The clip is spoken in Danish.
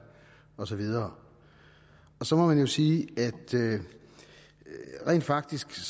og så videre så må man jo sige at det rent faktisk